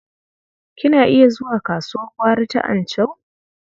Kina iya zuwa kasuwar gwari ta Anchau?